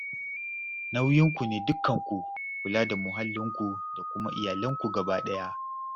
Nauyinku ne dukkanku kula da mahallinku da kuma iyalanku gabaɗaya